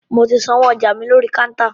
Mo ti sanwó ọjà mi lórí kántà.